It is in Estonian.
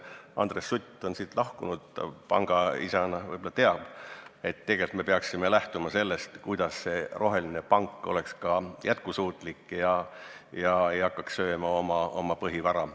Andres Sutt on saalist lahkunud, ta pangaisana võib-olla teab, et tegelikult me peaksime lähtuma sellest, kuidas roheline pank oleks jätkusuutlik ega hakkaks sööma oma põhivara.